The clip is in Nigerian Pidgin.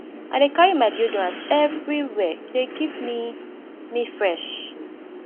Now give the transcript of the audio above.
i dey carry my deodorant everywhere e dey keep me me fresh